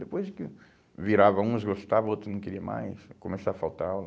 Depois que virava uns gostavam, outros não queriam mais, começava a faltar aula.